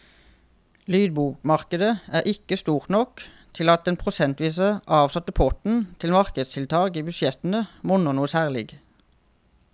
Lydbokmarkedet er ikke stort nok til at den prosentvis avsatte potten til markedstiltak i budsjettene monner noe særlig.